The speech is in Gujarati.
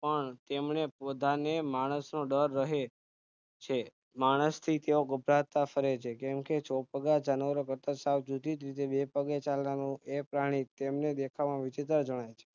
પણ તેમને બધાને માણસનો ડર રહે છે માણસથી તેઓ ગભરાતા ફરે છે કેમકે ચોપગા જાનવરો કરતા સાવ જુદીજ રીતે બે પગે ચાલનારું એ પ્રાણી એમને દેખાવમાં વિચિત્ર જણાય છે